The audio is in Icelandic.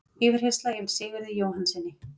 Yfirheyrsla yfir Sigurði Jóhannssyni